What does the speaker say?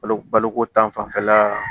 Balo baloko ta fanfɛla